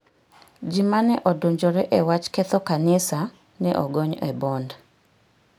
Ji ma ne odonjore e wach ketho kanisa ne ogony e bond.